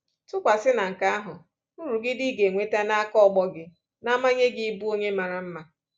Tụkwasị na nke ahụ, nrụgide ị ga enweta n'aka ọgbọ gị na-amanye gị ịbụ onye mara mma.